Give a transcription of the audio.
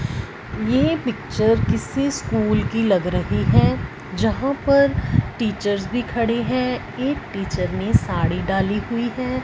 ये पिक्चर किसी स्कूल की लग रही है जहां पर टीचर्स भी खड़े हैं एक टीचर ने साड़ी डाली हुई है।